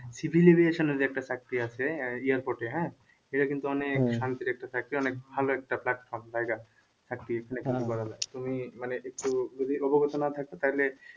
যে একটা চাকরি আছে airport এ হ্যাঁ এটা কিন্তু অনেক শান্তির একটা চাকরি অনেক ভালো একটা platform জায়গা একটি তুমি মানে